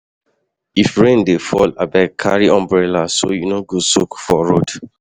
What would you like to do with this audio?